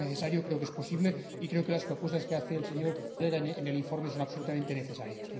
Creo que es necesario, creo que es posible y creo que las propuestas que hace el ponente en el informe son absolutamente necesarias.